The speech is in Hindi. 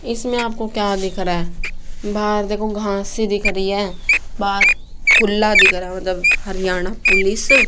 इसमे आपको क्या दिख रहा बाहर देखो घास ही दिख रही है बाहर खुल्ला दिख रहा मतलब हरियाणा पुलिस --